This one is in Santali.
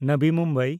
ᱱᱟᱵᱤ ᱢᱩᱢᱵᱟᱭ